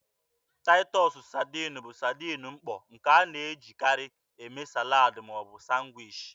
Taịtọs saadin bụ saadin mkpọ, nke a na-ejikarị eme salad ma ọ bụ sanwichi.